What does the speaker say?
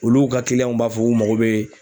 Olu ka b'a fɔ k'u mago bɛ